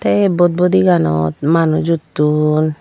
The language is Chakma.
te aye butbudi ganot manuj utton.